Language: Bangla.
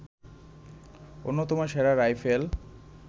অন্যতম সেরা রাইফেল